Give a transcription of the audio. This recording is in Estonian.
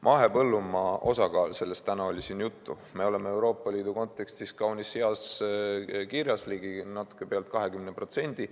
Mahepõllumaa osakaalu – sellest täna oli siin juttu – me oleme Euroopa Liidu kontekstis kaunis heas kirjas, natuke üle 20%.